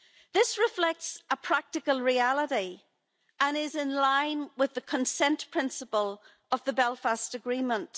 This reflects a practical reality and is in line with the consent principle of the Belfast Agreement.